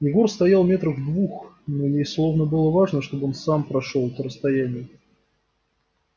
егор стоял метрах в двух но ей словно было важно чтобы он сам прошёл это расстояние